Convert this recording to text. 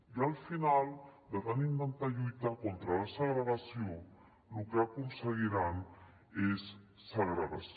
i al final de tant intentar lluitar contra la segregació lo que aconseguiran és segregació